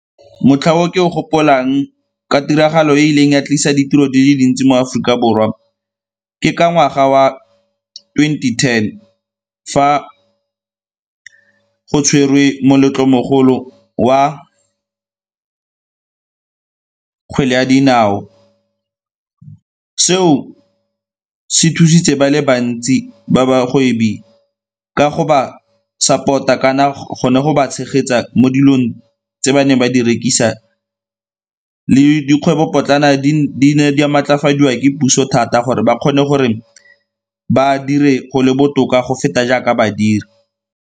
Motlha o ke o gopolang ka tiragalo e e rileng ya tlisa ditiro di le dintsi mo Aforika Borwa ke ka ngwaga wa twenty-ten fa go tshwerwe moletlong mogolo wa ka kgwele ya dinao. Seo se thusitse ba le bantsi ba bagwebi ka go ba support-a kana go ne go ba tshegetsa mo dilong tse ba neng ba di rekisa le dikgwebopotlana di ne di a maatlafadiwa di ke puso thata gore ba kgone gore ba dire go le botoka go feta jaaka ba dira.